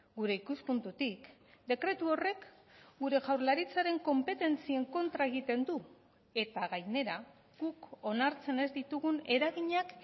gure ikuspuntutik dekretu horrek gure jaurlaritzaren konpetentzien kontra egiten du eta gainera guk onartzen ez ditugun eraginak